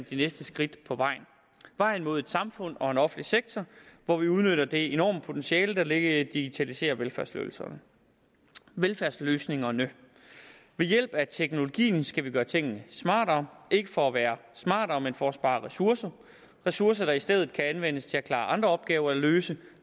de næste skridt på vejen vejen mod et samfund og en offentlig sektor hvor vi udnytter det enorme potentiale der ligger i at digitalisere velfærdsløsningerne velfærdsløsningerne ved hjælp af teknologien skal vi gøre tingene smartere ikke for at være smartere men for at spare ressourcer ressourcer der i stedet kan anvendes til at klare andre opgaver eller løse